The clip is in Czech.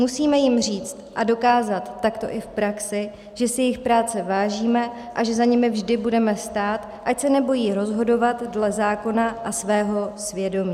Musíme jim říci a dokázat takto i v praxi, že si jejich práce vážíme a že za nimi vždy budeme stát, ať se nebojí rozhodovat dle zákona a svého svědomí.